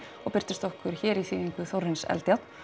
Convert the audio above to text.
og birtist okkur hér í þýðingu Þórarins Eldjárn